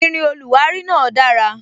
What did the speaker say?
Irin oluwari náà dara